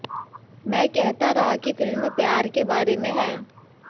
मैं कहता रहा कि फिल्म प्यार के बारे में है